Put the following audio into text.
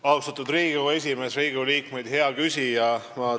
Austatud Riigikogu esimees, Riigikogu liikmed ja hea küsija!